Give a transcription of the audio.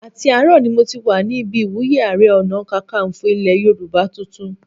Àti àárọ̀ ni mo ti wà ní ibi ìwúyé Ààrẹ Ọ̀nàkakanfò ilẹ̀ Yorùbá tuntun